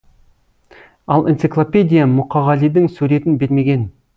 ал энциклопедия мұқағалидың суретін бермеген